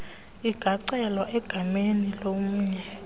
ingacelwa egameni lomnye